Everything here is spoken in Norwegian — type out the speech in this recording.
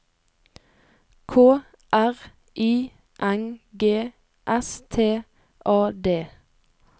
K R I N G S T A D